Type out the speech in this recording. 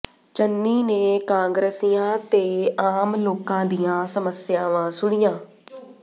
ਚੰਨੀ ਨੇ ਕਾਂਗਰਸੀਆਂ ਤੇ ਆਮ ਲੋਕਾਂ ਦੀਆਂ ਸਮੱਸਿਆਵਾਂ ਸੁਣੀਆਂ